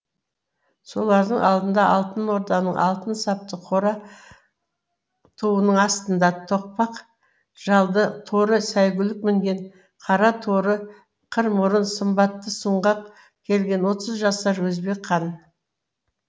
солардың алдында алтын орданың алтын сапты қара туының астында тоқпақ жалды торы сәйгүлік мінген қара торы қыр мұрын сымбатты сұңғақ келген отыз жасар өзбек хан